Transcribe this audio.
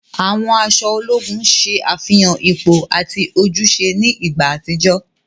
Àwọn aṣọ ológùn ṣe àfihàn ipò ati ojúṣe ni ìgbà àtijọ́.